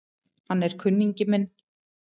Hann er kunningi minn